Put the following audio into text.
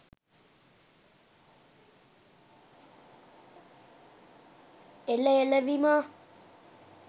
එල එල විමා